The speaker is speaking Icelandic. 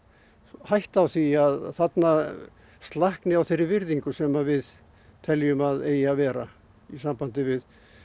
hætta á því að þarna slakni á þeirri virðingu sem við teljum að eigi að vera í sambandi við